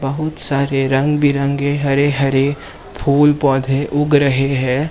बहुत सारे रंग बिरंगे हरे हरे फूल पौधे उग रहे है।